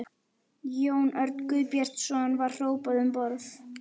Jón Örn Guðbjartsson: Var hrópað um borð?